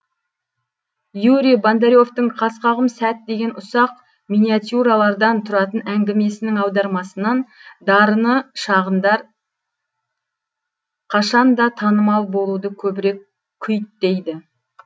юрий бондаревтің қас қағым сәт деген ұсақ миниатюралардан тұратын әңгімесінің аудармасынан дарыны шағындар қашанда танымал болуды көбірек күйттейді